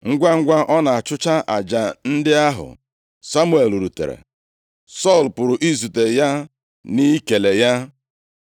Ngwangwa ọ na-achụcha aja ndị ahụ, Samuel rutere, Sọl pụrụ izute ya, na ikele ya.